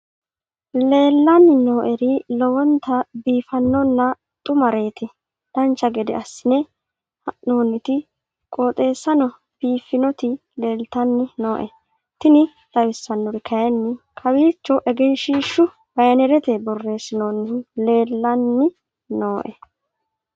leellanni nooeri lowonta biiffinonna xumareeti dancha gede assine haa'noonniti qooxeessano biiffinoti leeltanni nooe tini xawissannori kayi kawiiccho egenshshiishu banerete borreessinoonnihu leellanni nooe